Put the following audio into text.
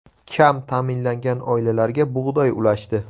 Kam ta’minlangan oilalarga bug‘doy ulashdi.